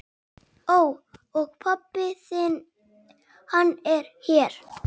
Ó. Og pabbi þinn, hann er hér?